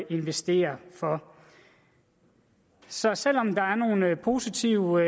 investere for så selv om der er nogle positive